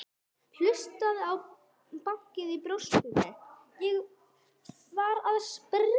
Hlustaði á bankið í brjóstinu, ég var að springa.